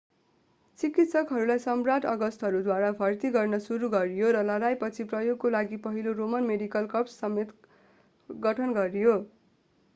चिकित्सकहरूलाई सम्राट् अगस्टसद्वारा भर्ती गर्न सुरु गरियो र लडाईपछि प्रयोगको लागि पहिलो रोमन मेडिकल कर्प्स समेत गठन गरियो